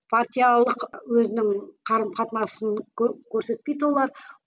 партиялық өзінің қарым қатынасын көрсетпейді олар